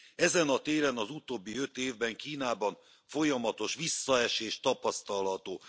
Ezen a téren az utóbbi öt évben Kínában folyamatos visszaesés tapasztalható.